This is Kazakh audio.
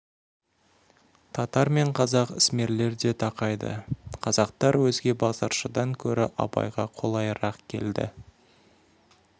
татар мен қазақ ісмерлері де тақайды қазақтар өзге базаршыдан гөрі абайға қолайырақ келді